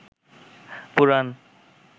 পুরাণ